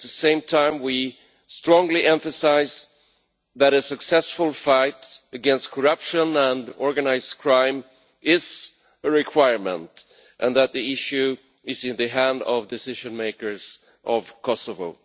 At the same time, we strongly emphasise that a successful fight against corruption and organised crime is a requirement and that the issue is in the hands of the decision makers of Kosovo.